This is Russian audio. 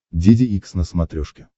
деде икс на смотрешке